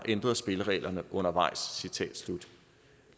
ændrer spillereglerne undervejs